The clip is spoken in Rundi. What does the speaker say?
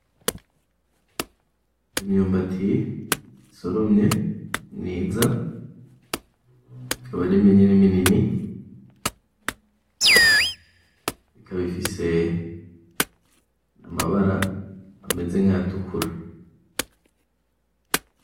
Imyumbati isoromye, myiza, ikaba ari minini minini, ikaba ifise amabara ameze nkayatukura.